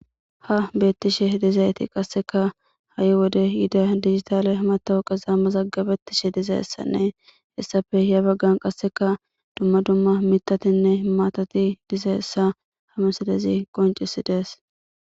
Ha betishe dizayti qaseka ha'i wode yida dijitale matoqeza mazagabetishe dizaysa heysape ya bagan qaseka duma duma mitatinne matati dizaysa ha missilezi qonc'sides.